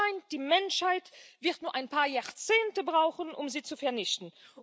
Es scheint, die Menschheit wird nur ein paar Jahrzehnte brauchen, um sie zu vernichten.